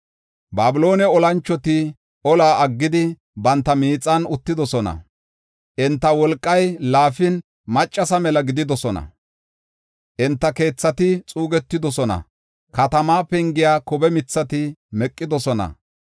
Babiloone olanchoti ola aggidi, banta miixan uttidosona. Enta wolqay laafin, maccasa mela gididosona. Enta keethati xuugetidosona; katama pengiya kobe mithati meqidosona.